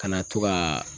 Kana to ka